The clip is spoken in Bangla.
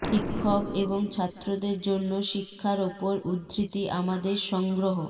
শিক্ষক এবং ছাত্রদের জন্য শিক্ষার উপর উদ্ধৃতি আমাদের সংগ্রহ